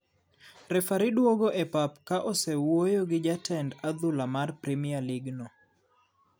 Refari duogo e pap ka osewuoyo gi jatend adhula mar premier league no.